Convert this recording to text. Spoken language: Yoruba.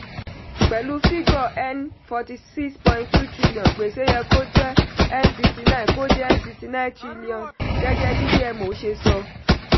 pẹ̀lú fígò N fouty six point two trillion gbèsè yẹ kó jẹ́ n sixty nine kó jẹ́ n sixty nine trillion gẹ́gẹ́ bí dmo ṣe sọ.